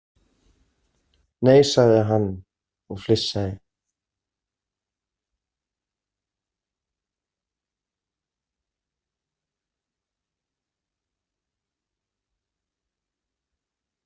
Nei, sagði hann og flissaði.